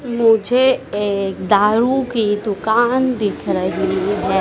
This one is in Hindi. मुझे एक दारू की दुकान दिख रही है।